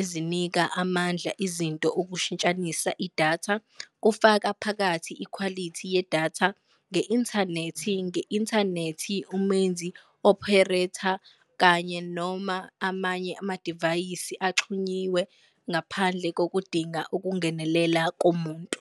ezinika amandla izinto ukushintshanisa idatha, kufaka phakathi ikhwalithi yedatha, nge-inthanethi nge-inthanethi umenzi, opharetha, kanye noma amanye amadivayisi axhunyiwe, ngaphandle kokudinga ukungenelela komuntu.